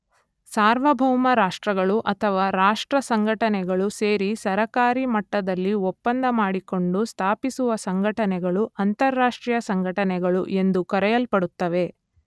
ಸಾರ್ವಭೌಮ ರಾಷ್ಟ್ರಗಳು ಅಥವಾ ರಾಷ್ಟ್ರ ಸಂಘಟನೆಗಳು ಸೇರಿ ಸರಕಾರೀ ಮಟ್ಟದಲ್ಲಿ ಒಪ್ಪಂದ ಮಾಡಿಕೊಂಡು ಸ್ಥಾಪಿಸುವ ಸಂಘಟನೆಗಳು ಅಂತಾರಾಷ್ಟ್ರೀಯ ಸಂಘಟನೆಗಳು ಎಂದು ಕರೆಯಲ್ಪಡುತ್ತವೆ.